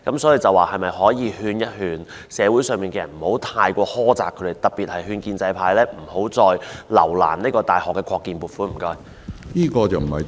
所以，當局是否可以勸說社會上的人不要太苛責學校，特別是勸建制派不要再留難大學的擴建撥款，謝謝。